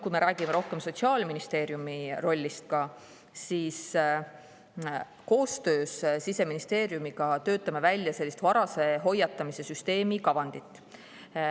Kui me räägime rohkem Sotsiaalministeeriumi rollist, siis koostöös Siseministeeriumiga töötame välja varase hoiatamise süsteemi kavandit.